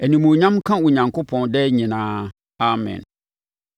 Animuonyam nka Onyankopɔn daa nyinaa. Amen.